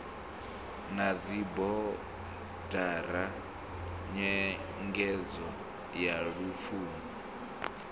na dzibodara nyengedzo ya lupfumo